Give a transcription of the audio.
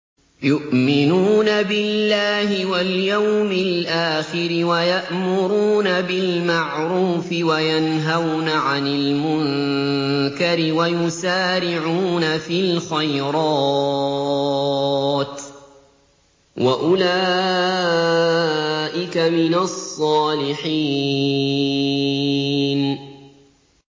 يُؤْمِنُونَ بِاللَّهِ وَالْيَوْمِ الْآخِرِ وَيَأْمُرُونَ بِالْمَعْرُوفِ وَيَنْهَوْنَ عَنِ الْمُنكَرِ وَيُسَارِعُونَ فِي الْخَيْرَاتِ وَأُولَٰئِكَ مِنَ الصَّالِحِينَ